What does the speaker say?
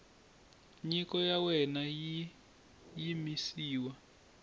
nyiko ya wena yi yimisiwa